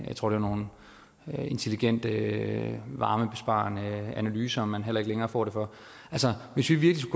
jeg tror var nogle intelligente varmebesparende analyser som man heller ikke længere får det for altså hvis vi virkelig